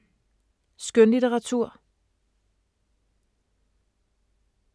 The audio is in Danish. Skønlitteratur